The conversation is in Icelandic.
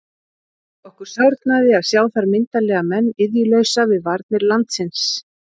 Okkur sárnaði að sjá þar myndarlega menn iðjulausa við varnir landsins.